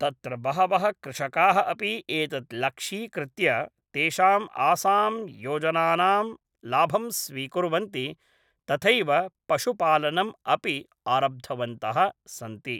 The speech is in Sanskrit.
तत्र बहवः कृषकाः अपि एतत् लक्ष्यीकृत्य तेषां आसां योजनानां लाभं स्वीकुर्वन्ति तथैव पशुपालनम् अपि आरब्धवन्तः सन्ति